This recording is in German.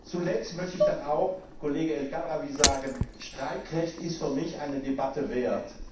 Zuletzt möchte ich dann auch dem Kollegen El Khadraoui sagen Streikrecht ist für mich eine Debatte wert.